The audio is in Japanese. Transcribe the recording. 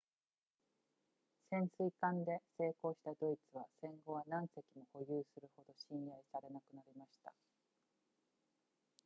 潜水艦で成功したドイツは戦後は何隻も保有するほど信頼されなくなりました